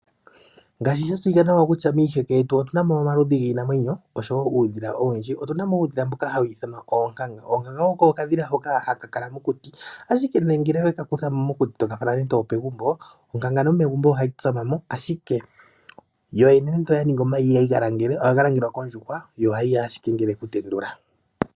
Ngaashi sha tseyika nawa kutya miiheke yetu otuna mo omaludhi giinamwenyo osho wo uudhila owundji. Otuna mo uudhila mboka hawu ithanwa oonkanga. Oonkanga oko okadhila hoka haka kala mokuti ashike ngele oweka kutha mo mokuti to ka fala nande opegumbo, onkanga nomegumbo ohayi tsama mo ashike yo yene nenge oya ningi omayi, ihayi ga langele, ohaga langelwa kondjuhwa, yo ohayi ya ashike ngele okutendula.